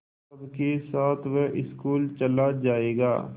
सबके साथ वह स्कूल चला जायेगा